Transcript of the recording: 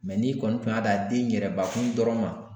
Mɛ n'i kɔni tun y'a dan den in yɛrɛbakun dɔrɔn ma